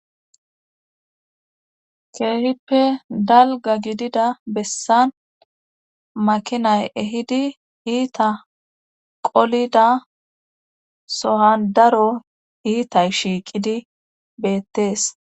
Keehippe dalga gidida bessan makinay ehidi iita qolida so7an daro iita shiiqidi beettees.